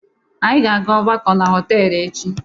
Anyị ga-aga ọgbakọ na họtelụ echi.